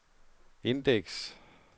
indeks